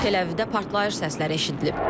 Teləvivdə partlayış səsləri eşidilib.